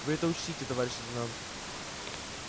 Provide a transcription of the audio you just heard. вы это учтите товарищ лейтенант